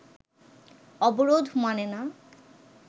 অবরোধ মানে না